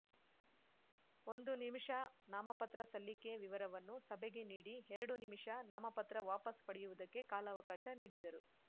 ಒಂದು ನಿಮಿಷ ನಾಮಪತ್ರ ಸಲ್ಲಿಕೆ ವಿವರವನ್ನು ಸಭೆಗೆ ನೀಡಿ ಎರಡು ನಿಮಿಷ ನಾಮಪತ್ರ ವಾಪಸ್‌ ಪಡೆಯುವುದಕ್ಕೆ ಕಾಲಾವಕಾಶ ನೀಡಿದರು